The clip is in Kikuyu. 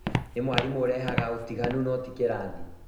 Nĩ mwarimũ ũrehaga ũtiganu no ti kĩrathi